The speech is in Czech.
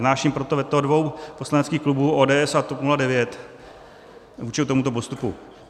Vznáším proto veto dvou poslaneckých klubů, ODS a TOP 09, vůči tomuto postupu.